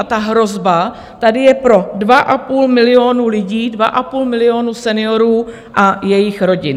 A ta hrozba tady je pro dva a půl milionu lidí, dva a půl milionu seniorů a jejich rodin.